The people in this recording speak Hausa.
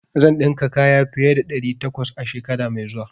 Zan dinka kaya fiye da ɗari takwas a shekara mai zuwa.